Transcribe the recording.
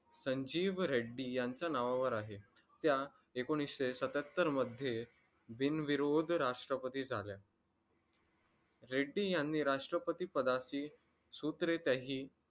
संजीव रेड्डी यांच्या नावावर आहे त्या एकोणीशे सत्याहत्तर मध्ये बिनविरोध राष्ट्रपती झाल्या रेड्डी यांनी राष्ट्रपती पदाची सूत्रे